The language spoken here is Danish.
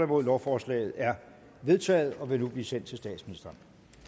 nul lovforslaget er vedtaget og vil nu blive sendt til statsministeren